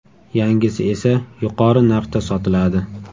Yangisi esa yuqori narxda sotiladi.